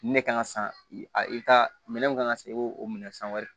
Ne kan ka san i bɛ taa minɛn mun kan ka san i b'o o minɛ san wɛrɛ